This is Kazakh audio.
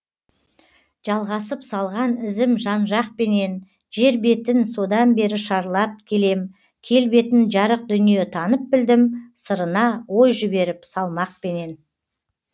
жалғасып салған ізім жанжақпенен жер бетін содан бері шарлап келем келбетін жарық дүние танып білдім сырына ой жіберіп салмақпенен